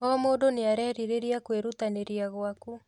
O mũndũ nĩarerirĩria kwĩrutanĩria gwaku